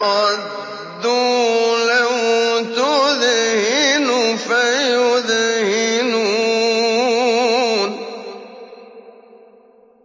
وَدُّوا لَوْ تُدْهِنُ فَيُدْهِنُونَ